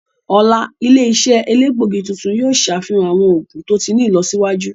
Ọla, ile-iṣẹ elegbogi tuntun yoo ṣafihan awọn oogun to ti ni ilọsiwaju.